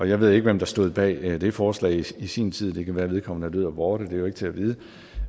jeg ved ikke hvem der stod bag det forslag i sin tid det kan være vedkommende er død og borte det er jo ikke til at vide